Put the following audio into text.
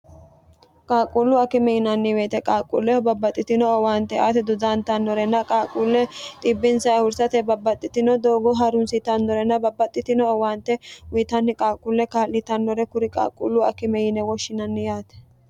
qaaqquullu akime yinanni weete qaaqquulleho babbaxxitino owaante aate dodaantannorena qaaquulle xibbinsa hursate babbaxxitino doogo harunsitannorena babbaxxitino owaante uyitanni qaaqquulle kaa'llitannore kuri qaaqquullu akime yine woshshinanni yaate